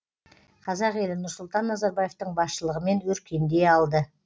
қазақ елі нұрсұлтан назарбаевтың басшылығымен өркендей алды